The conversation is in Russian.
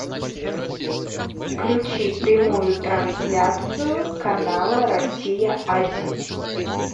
включи прямую трансляцию канала россия один